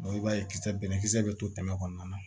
i b'a ye kisɛ bɛnnɛ kisɛ bɛ to tɛmɛ kɔnɔna na